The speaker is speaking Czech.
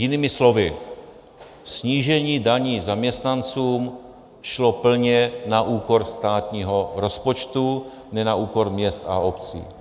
Jinými slovy, snížení daní zaměstnancům šlo plně na úkor státního rozpočtu, ne na úkor měst a obcí.